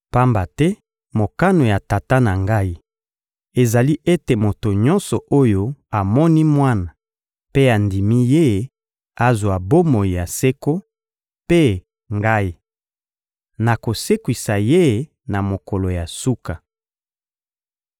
Pamba te mokano ya Tata na Ngai ezali ete moto nyonso oyo amoni Mwana mpe andimi Ye azwa bomoi ya seko; mpe, Ngai, nakosekwisa ye na mokolo ya suka.